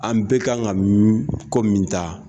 An bɛɛ kan ka ko min ta